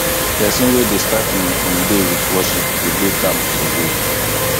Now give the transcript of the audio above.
pesin wey dey start im im day with worship go dey calm for day